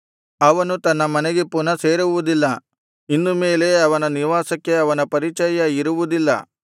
ಅವನು ತನ್ನ ಮನೆಗೆ ಪುನಃ ಸೇರುವುದಿಲ್ಲ ಇನ್ನು ಮೇಲೆ ಅವನ ನಿವಾಸಕ್ಕೆ ಅವನ ಪರಿಚಯ ಇರುವುದಿಲ್ಲ